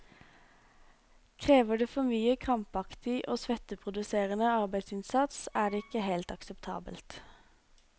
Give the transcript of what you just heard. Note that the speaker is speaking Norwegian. Krever det for mye krampaktig og svetteproduserende arbeidsinnsats, er det ikke helt akseptabelt.